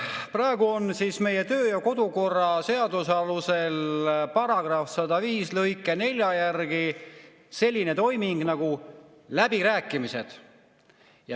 Praegu on meie kodu‑ ja töökorra seaduse § 105 lõike 4 järgi selline toiming nagu läbirääkimised.